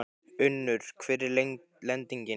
Unnur, hver er lendingin?